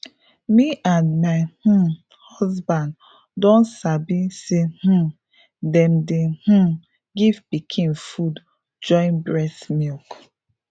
me and my um husband don sabi say um them dey um give pikin food join breast milk